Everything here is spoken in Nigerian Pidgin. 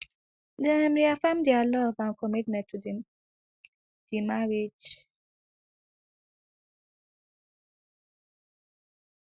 dem reaffirm dia love and commitment to di di marriage